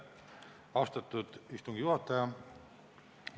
Austatud istungi juhataja!